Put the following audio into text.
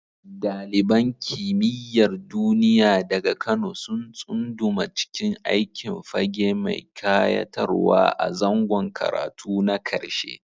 Daliban Kimiyyar Duniya daga Kano sun tsunduma cikin aikin fage mai kayatarwa a zangon karatu na karshe.